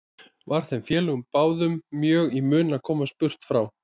Var þeim félögum báðum mjög í mun að komast burt frá